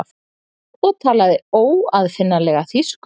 og talaði óaðfinnanlega þýsku.